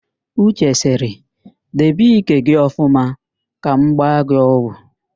Uche sịrị, debe ike gị ọfụma ka m gba gị ọgwụ!